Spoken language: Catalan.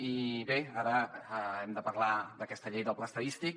i bé ara hem de parlar d’aquesta llei del pla estadístic